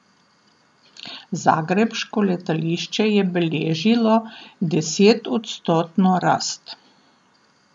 Zagrebško letališče je beležilo desetodstotno rast.